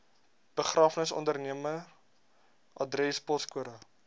begrafnisondernemer adres poskode